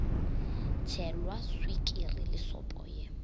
tšhelwa swikiri le sopo ye